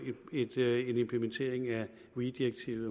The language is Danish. en implementering af weee direktivet